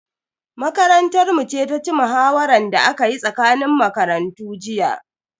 Makarantar mu ce ta ci muhawaran da aka yi tsakanin makarantu jiya.